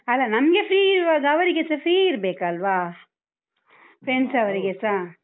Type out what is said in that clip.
ಅಲ್ಲ ನನ್ಗೆ free ಇರುವಾಗ ಅವರಿಗೆಸ free ಇರ್ಬೇಕಲ್ವಾ? Friends ಅವರಿಗೆಸ.